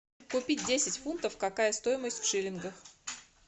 купить десять фунтов какая стоимость в шиллингах